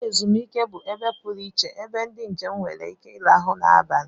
Ụlọ ezumike bụ ebe pụrụ iche ebe ndị njem nwere ike ịrahụ ụra n'abalị